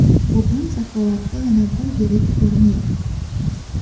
Bugun Zakovatda yana bir yirik turnir!.